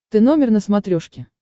ты номер на смотрешке